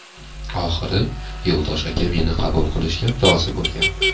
Oxiri Yo‘ldosh aka meni qabul qilishga rozi bo‘lgan.